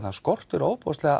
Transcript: það skortir